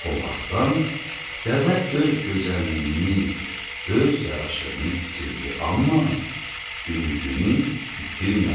O vaxtdan dəvə öz gözəlliyini, öz yaraşığını itirdi, amma ümidini itirmədi.